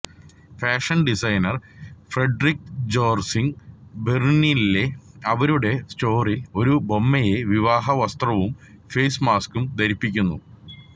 fashion designer Friederike Jorzig ബെർലിനിലെ അവരുടെ സ്റ്റോറിൽ ഒരു ബൊമ്മയെ വിവാഹ വസ്ത്രവും ഫെയ്സ് മാസ്കും ധരിപ്പിക്കുന്നു